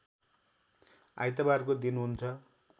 आइतबारको दिन हुन्छ